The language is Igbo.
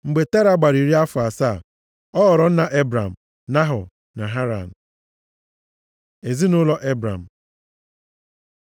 Mgbe Tera gbara iri afọ asaa, ọ ghọrọ nna Ebram, Nahọ na Haran. Ezinaụlọ Ebram